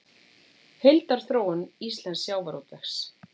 Heildarþróun íslensks sjávarútvegs